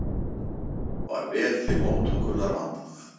Var vel til móttökunnar vandað.